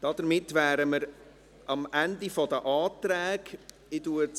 Damit wären wir am Ende der Anträge angelangt.